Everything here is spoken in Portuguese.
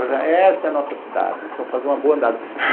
Essa é a nossa cidade, vamos fazer uma boa andada.